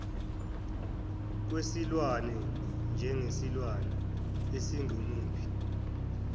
kwesilwane njengesilwane esingumuphi